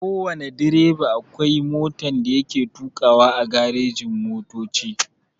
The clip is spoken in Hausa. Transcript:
Kowana direba akwai motan da yake tukawa a garejin motoci.